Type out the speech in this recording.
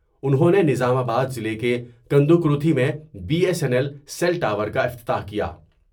انہوں نے نظام آباد ضلع کے کند وکروتی میں B S N L cell tower کا افتتاح کیا ۔